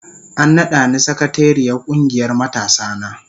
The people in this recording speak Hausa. An nada ni sakatariyar kungiyar matasana.